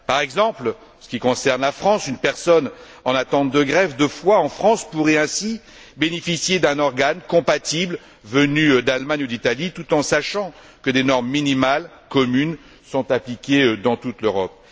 Par exemple, en ce qui concerne la France, une personne en attente de greffe de foie pourrait ainsi bénéficier d'un organe compatible venu d'Allemagne ou d'Italie, tout en sachant que des normes minimales communes sont appliquées dans toute l'Europe.